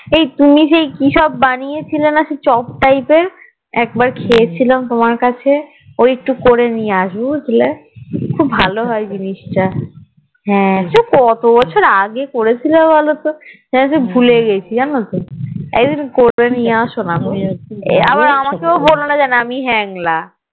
খুব ভালো হয়ে জিনিস তা সেই কতবছর আগে করেছিলে বলো তো সেই যে ভুলে গেছি জানতো একদিন করে নিয়ে আসোনা গো আবার আমাকেও বলোনা যেন আমি হ্যাংলা